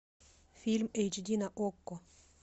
фильм эйч ди на окко